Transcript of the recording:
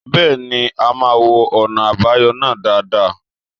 Bẹ́ẹ̀ ni, a máa wo ọ̀nà àbáyọ náà dáadáa.